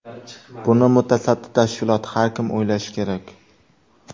Buni mutasaddi tashkilot, har kim o‘ylashi kerak.